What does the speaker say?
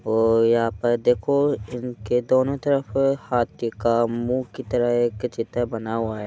और पर देखो इन के दोनों की तरफ हाथी का मुहॅं की तरह एक चित्र बना हुआ है।